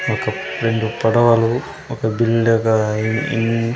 ఒక రెండు పడవలు ఒక బిందెగా అయి ఇన్ --